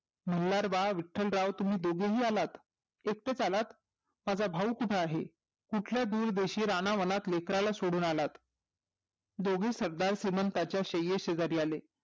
मल्हार बाळा विट्टलराव तुम्ही दोघेही आलात एकटेच आलात माझा भाऊ कोठे आहे कुठल्या दुरदेशी रानावनात लेकराला सोडून आलात दोघे सदार श्रीमंतांच्या श्रेय शेजारी आले